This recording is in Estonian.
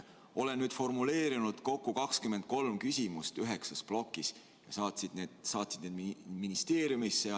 Olen nüüd formuleerinud kokku 23 küsimust üheksas plokis ja need ministeeriumisse saatnud.